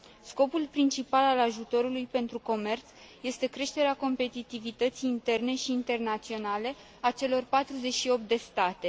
Scopul principal al ajutorului pentru comerț este creșterea competitivității interne și internaționale a celor 48 de state.